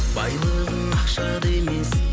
байлығың ақшада емес